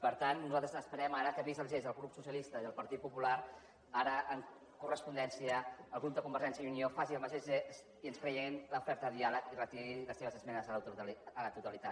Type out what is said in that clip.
per tant nosaltres esperem ara que vist el gest del grup socialista i el partit popular ara en correspondència el grup de convergència i unió faci el mateix gest i ens creiem l’oferta de diàleg i retiri les seves esmenes a la totalitat